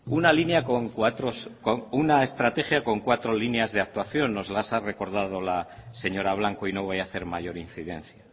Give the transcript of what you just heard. una estrategia con cuatro líneas de actuación nos las ha recordado la señora blanco y no voy a hacer mayor incidencia